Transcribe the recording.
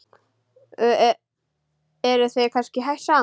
Eruð þið kannski hætt saman?